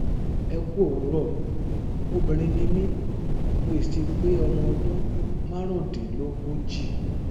ẹ kú òwúrọ obìnrin ni mí mo sì ti pé ọmọ ọdún márùndínlógójì